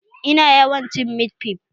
Ina yawan cin mit fif